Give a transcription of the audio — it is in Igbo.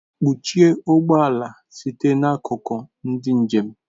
Kpọchie ụgbọ ala site n'akụkụ ndị njem!